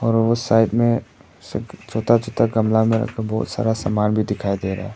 और साइड में छोटा छोटा कमरा में बहुत सारा सामान भी दिखाई दे रहा है।